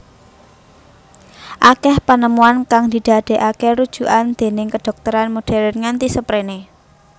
Akeh penemuan kang didadekake rujukan déning kedhokteran modern nganti sperene